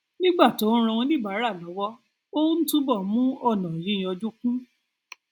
nígbà tó ń ran oníbàárà lọwọ ó ń túbọ mú ònà yíyanjú kún